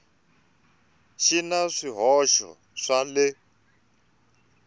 xi na swihoxo swa le